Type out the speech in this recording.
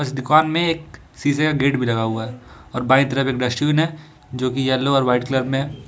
इस दुकान में एक शीशे का गेट भी लगा हुआ है और बाएं तरफ एक डस्टबिन है जो कि येलो और वाइट कलर में है।